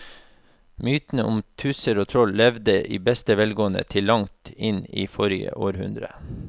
Mytene om tusser og troll levde i beste velgående til langt inn i forrige århundre.